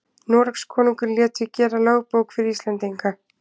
Noregskonungur lét því gera lögbók fyrir Íslendinga.